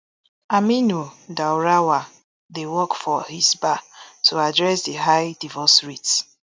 aminu daurawa dey work for hisbah to address di high divorce rate